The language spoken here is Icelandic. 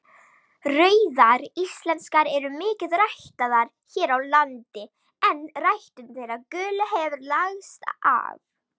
Rauðar íslenskar eru mikið ræktaðar hér á landi en ræktun þeirra gulu hefur lagst af.